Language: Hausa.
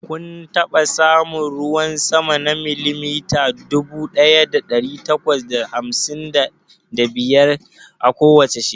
Kun taɓa samun ruwan sama na milimita dubu ɗaya ɗari takwas da hamsin da biyar a kowace shekara?